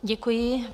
Děkuji.